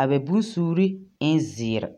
a bɛ bonsuure ɛn zeere.